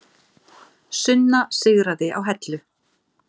Sunna sigraði á Hellu